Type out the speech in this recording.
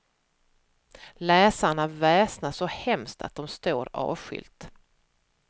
Läsarna väsnas så hemskt att de står avskilt.